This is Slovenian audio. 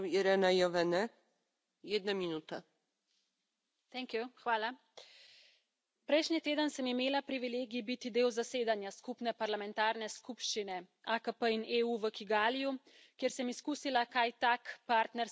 Gospa predsednica! Prejšnji teden sem imela privilegij biti del zasedanja skupne parlamentarne skupščine AKP in EU v Kigaliju, kjer sem izkusila, kaj tak partnerski sporazum dejansko pomeni.